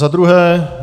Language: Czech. Za druhé.